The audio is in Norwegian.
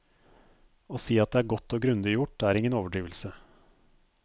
Å si at det er godt og grundig gjort, er ingen overdrivelse.